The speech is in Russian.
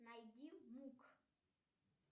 найди мук